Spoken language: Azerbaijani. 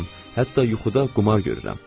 Hətta yuxuda qumar görürəm.